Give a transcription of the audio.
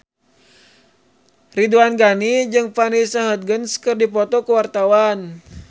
Ridwan Ghani jeung Vanessa Hudgens keur dipoto ku wartawan